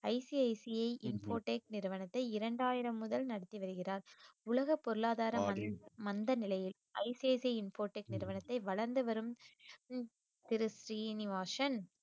ICICI Infotech நிறுவனத்தை இரண்டாயிரம் முதல் நடத்தி வருகிறார் உலக பொருளாதார வளர்ச்சி மந்த நிலையில் ஐசிஐசிஐ இன்ஃபோடெக் நிறுவனத்தை வளர்ந்து வரும் திரு ஸ்ரீனிவாசன்